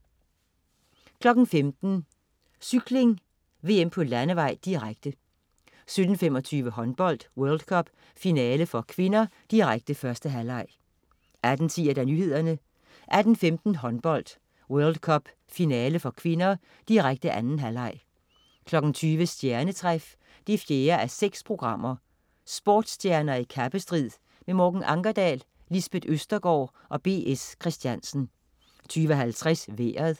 15.00 Cykling: VM på landevej, direkte 17.25 Håndbold: World Cup, finale (k), direkte. 1. halvleg 18.10 Nyhederne 18.15 Håndbold: World Cup, finale (k), direkte. 2. halvleg 20.00 Stjernetræf 4:6. Sportsstjerner i kappestrid. Morten Ankerdal, Lisbeth Østergaard og B. S. Christiansen 20.50 Vejret